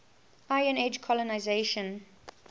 iron age colonisation